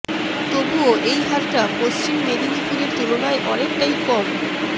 তবুও এই হারটা পশ্চিম মেদিনীপুরের তুলনায় অনেকটাই কম